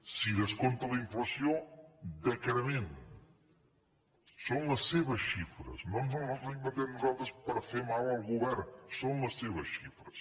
si descompta la inflació decrement són les seves xifres no ens les inventem nosaltres per fer mal al govern són les seves xifres